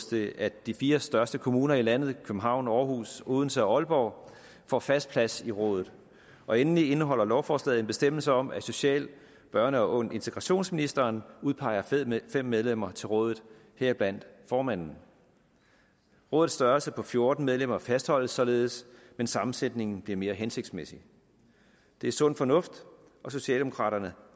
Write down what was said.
det at de fire største kommuner i landet københavn aarhus odense og aalborg får fast plads i rådet og endelig indeholder lovforslaget en bestemmelse om at social børne og integrationsministeren udpeger fem medlemmer til rådet heriblandt formanden rådets størrelse på fjorten medlemmer fastholdes således men sammensætningen bliver mere hensigtsmæssig det er sund fornuft og socialdemokraterne